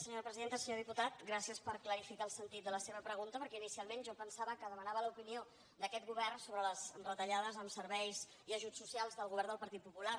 senyor diputat gràcies per clarificar el sentit de la seva pregunta perquè inicialment jo pensava que demanava l’opinió d’aquest govern sobre les retallades en serveis i ajuts socials del govern del partit popular